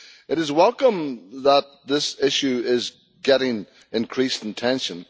It is welcome that this issue is getting increased attention.